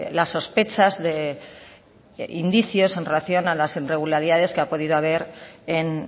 las sospechas o indicios en relación a las irregularidades que han podido haber en